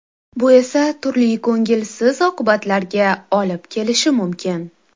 Bu esa turli ko‘ngilsiz oqibatlarga olib kelishi mumkin.